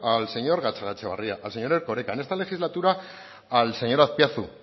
al señor gatzagaetxebarria al señor erkoreka en esta legislatura al señor azpiazu